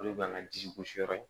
Olu b'an ka ji gosi yɔrɔ in